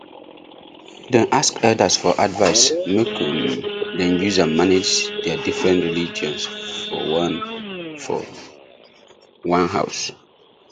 dem ask elders for advice make um dem use am manage their different religions for one for one house